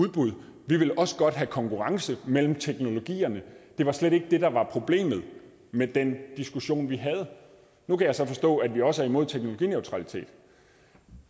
udbud vi vil også godt have konkurrence mellem teknologierne det var slet ikke det der var problemet med den diskussion vi havde nu kan jeg så forstå at vi også er imod teknologineutralitet